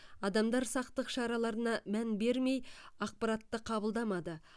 адамдар сақтық шараларына мән бермей ақпаратты қабылдамады